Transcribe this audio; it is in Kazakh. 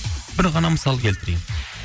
бір ғана мысал келтірейік